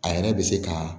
A yɛrɛ bɛ se ka